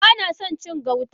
Banason cin gauta.